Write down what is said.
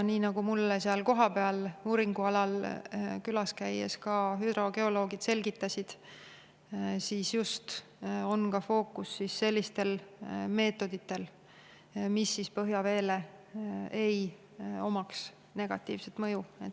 Nii nagu mulle uuringualal kohapeal külas käies ka hüdrogeoloogid selgitasid, on fookus just sellistel meetoditel, millel ei oleks põhjaveele negatiivset mõju.